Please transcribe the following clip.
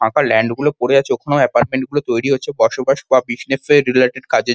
ফাঁকা ল্যান্ড -গুলো পরে আছে ওখানেও এপার্টমেন্ট -গুলো তৈরি হচ্ছে বসবাস বা বিসনেস -এর রিলেটেড কাজের--